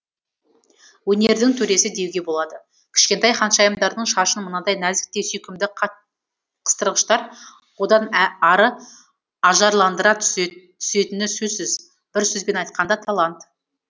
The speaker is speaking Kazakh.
өнердің төресі деуге болады кішкентай ханшайымдардың шашын мынадай нәзік те сүйкімді қыстырғыштар одан ары ажарландыра түсетіні сөзсіз бір сөзбен айтқанда талант